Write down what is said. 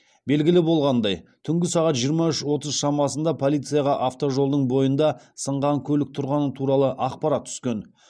белгілі болғандай түнгі сағат жиырма үш отыз шамасында полицияға автожолдың бойында сынған көлік тұрғаны туралы ақпарат түскен